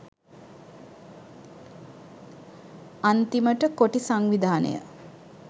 අන්තිමට කොටි සංවිධානය